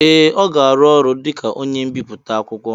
ee, ọ ga-arụ ọrụ dị ka onye mbiputa akwụkwọ